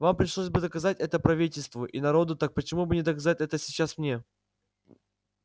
вам пришлось бы доказывать это правительству и народу так почему бы не доказать это сейчас мне